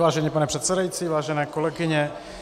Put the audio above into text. Vážený pane předsedající, vážené kolegyně -